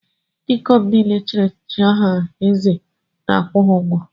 Ndị ikom niile echiri echichi aha eze na-akwụ ha ụgwọ.